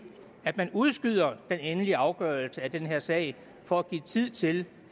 at man udskyder den endelige afgørelse af den her sag for at give tid til